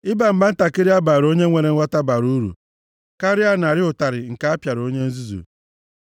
Ịba mba ntakịrị a baara onye nwere nghọta bara uru karịa narị ụtarị nke a pịara onye nzuzu.